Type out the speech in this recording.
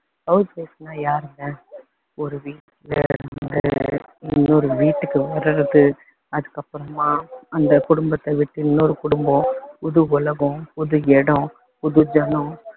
house wife னா யாருங்க, ஒரு வீட்ல இருந்து இன்னொரு வீட்டுக்கு வர்றது, அதுக்கப்பறமா அந்த குடும்பத்தை விட்டு இன்னொரு குடும்பம் புது உலகம் புது இடம் புது ஜனம்